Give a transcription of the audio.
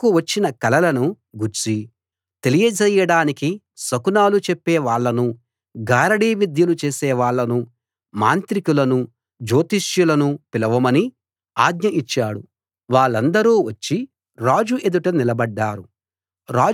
తనకు వచ్చిన కలలను గూర్చి తెలియజేయడానికి శకునాలు చెప్పేవాళ్ళను గారడీ విద్యలు చేసేవాళ్ళను మాంత్రికులను జోతిష్యులను పిలవమని ఆజ్ఞ ఇచ్చాడు వాళ్ళందరూ వచ్చి రాజు ఎదుట నిలబడ్డారు